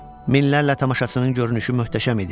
Minlərlə tamaşaçının görünüşü möhtəşəm idi.